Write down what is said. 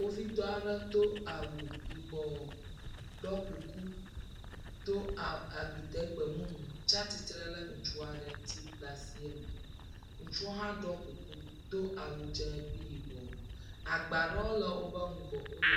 Kpovitɔ aɖe do awu yibɔ. Ɖɔ kuku, do a agbote gbemumu tsi atsitre ɖe le ŋutsu aɖe ŋuti le asieme. Ŋutsu hã ɖɔ kuku do awu dze kple yibɔ. Agba ɖewo le wobe ŋgɔ.